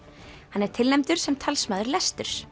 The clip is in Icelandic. hann er tilnefndur sem talsmaður lesturs